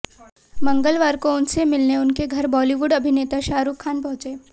मंगलवार को उनसे मिलने उनके घर बॉलीवुड अभिनेता शाहरुख खान पहुंचे